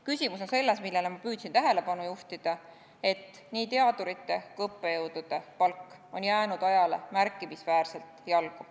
Küsimus on selles – millele ma püüdsin tähelepanu juhtida –, et nii teadurite kui õppejõudude palk on jäänud ajale märkimisväärselt jalgu.